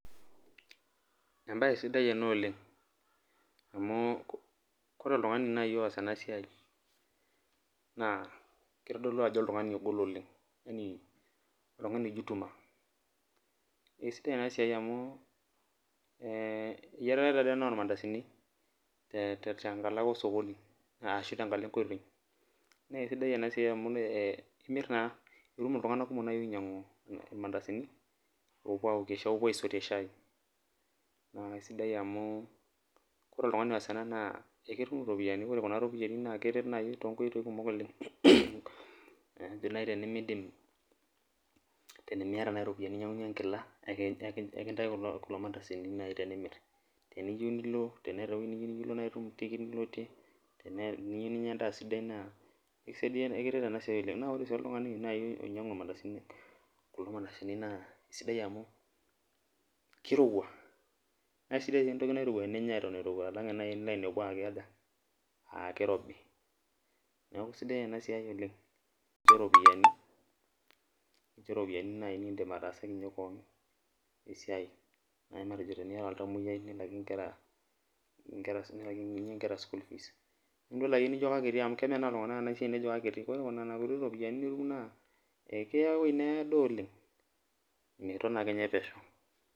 embae sidai ena oleng, amu ore oltungani laaji oos ena siai, na kitodolu ajo oltungani ogol oleng. yaani oltungani oijituma, esidai ena siai amu, ee eyiarae taa dii ena ormandasini, ee tenkalo ake osokoni ashu tenkalo enkoitoi, naa kesidai ena siai amu imir naaa itum iltunganak kumok naaji oinyiang'u irmandasini, oopuo aokie, oopuo aisotie shai, naa sidai mau ore oltungani oas ena naa eketum iropiyiani, ore kuna ropiyiani naa itum too nkoitoi kumok oleng. matejo naaji tenimidim, tenimiata naji iropiyiani ninyiang'unye enkila, ekintaiki kulo mantasini nai tenimir, teniyieu nilo, teneeta ewuei nilo nitum tikit niloitie, teniyieu ninyia edaaa sidai naa, ekiret ena siai oleng. naa ore oltungani sii naaji oinyiang'u irmandasini, kulo mandasini naa sidai amu kirowua, naa sidai sii entoki teninyia eton irowua, alang eninyia naaji ninepu aa kikja, aa kirobi. neeku isidai ena siai oleng. keropiyiani naaji nidim ataasakinye kewon, esiai naaji matejo teniata oltamoyiai naaji ligira, alaakiny nkera school fees nidol ake nijo kakiti amu kemenaa iltunganak ena siai nejo kakiti. ore nena kuti ropiyiani nitum naa ekiya ewuei needo oleng. miton ake ninye pesho.